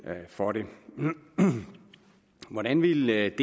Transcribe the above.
for det hvordan ville